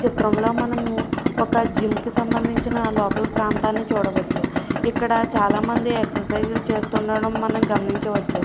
చిత్రంలో మనము ఒక జిమ్ కి సంబంధించిన చూడవచ్చు. ఇక్కడ చాలామంది ఎక్ససైజ్ లు చేస్తుండడం మనము గమనించవచ్చు.